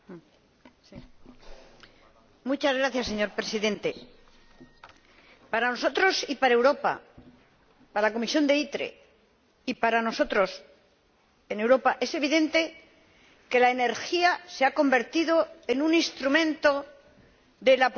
Señor Presidente, para nosotros y para Europa, para la Comisión de ITRE, y para nosotros en Europa, es evidente que la energía se ha convertido en un instrumento de la política exterior, en un elemento de cambio